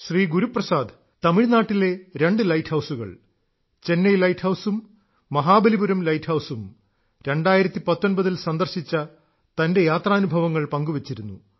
ശ്രീ ഗുരുപ്രസാദ് തമിഴ്നാട്ടിലെ രണ്ട് ലൈറ്റ് ഹൌസുകൾ ചെന്നൈ ലൈറ്റ് ഹൌസും മഹാബലിപുരം ലൈറ്റ് ഹൌസും 2019 ൽ സന്ദർശിച്ച തന്റെ യാത്രാനുഭവങ്ങൾ പങ്കുവെച്ചിരുന്നു